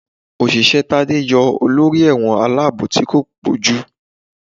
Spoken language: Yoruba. Oṣiṣẹ Tade yọọ olorí ẹwọ́n alabò tí ko pojú.